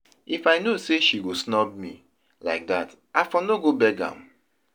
If I know say she go snub me like that I for no go beg am